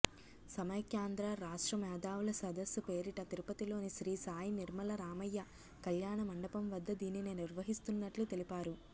సమైక్యాంధ్ర రాష్ట్ర మేధావుల సదస్సు పేరిట తిరుపతిలోని శ్రీసాయి నిర్మల రామయ్య కల్యాణమండపం వద్ద దీనిని నిర్వహిస్తున్నట్లు తెలిపారు